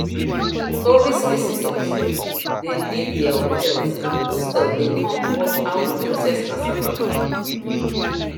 tourist visitors dey leave their hotels and hostel dey come watch how we process cassava